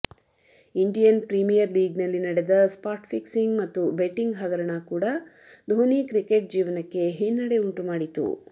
Indian premier ಲೀಗ್ನಲ್ಲಿ ನಡೆದ spot fixing ಮತ್ತು ಬೆಟ್ಟಿಂಗ್ ಹಗರಣ ಕೂಡಾ ದೋನಿ ಕ್ರಿಕೆಟ್ ಜೀವನಕ್ಕೆ ಹಿನ್ನಡೆ ಉಂಟುಮಾಡಿತು